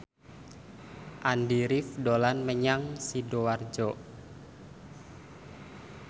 Andy rif dolan menyang Sidoarjo